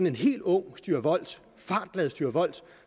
en helt ung styrvolt fartglad styrvolt